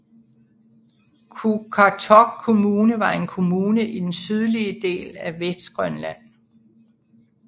Qaqortoq Kommune var en kommune i den sydlige del af Vestgrønland